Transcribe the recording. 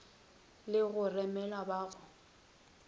le go remela ba go